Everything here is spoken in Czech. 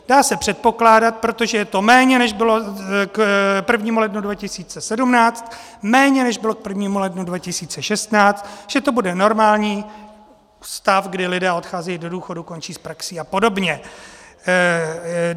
Dá se předpokládat, protože je to méně, než bylo k 1. lednu 2017, méně než bylo k 1. lednu 2016, že to bude normální stav, kdy lidé odcházejí do důchodu, končí s praxí a podobně.